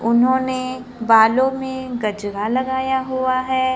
उन्होंने बालों में गजरा लगाया हुआ है।